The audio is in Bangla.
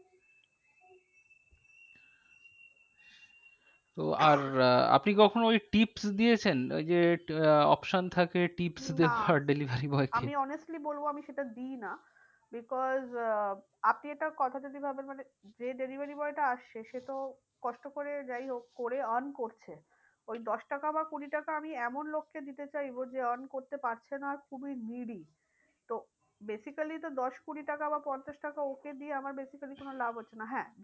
কষ্ট করে যাই হোক করে earn করছে। ওই দশটাকা বা কুড়ি টাকা আমি এমন লোককে দিতে চাইবো যে earn করতে পারছে না খুবই তো basically তো দশ কুড়ি টাকা বা পঞ্চাশ টাকা ওকে দিয়ে আমার basically কোনো লাভ হচ্ছে না। হ্যাঁ